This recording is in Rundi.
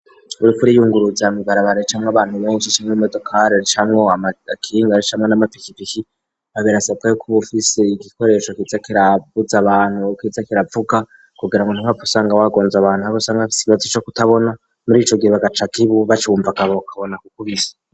Uriko uriyunguruza mw'ibarabara ricamwo abantu benshi canke imodokari, ricamwo amakinga, ricamwo n'amapikipiki, birasabwa yuko uba ufise igikoresho kiza kiravuza abantu, kiza kiravuga kugira ngo ntuhave usanga wagonze abantu, nk'abo usanga bafise ikibazo co kutabona, muri ico gihe bagaca bacumva bakabona kukubisa.